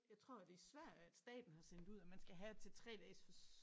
Jeg tror det i Sverige at staten har sendt ud at man skal have til 3 dages fors